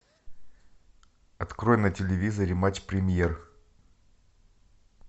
открой на телевизоре матч премьер